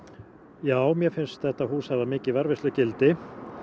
já mér finnst þetta hús hafa mikið varðveislugildi